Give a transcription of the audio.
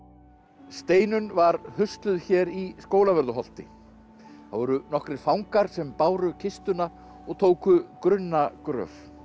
Steinunn var hér í Skólavörðuholti það voru nokkrir fangar sem báru kistuna og tóku grunna gröf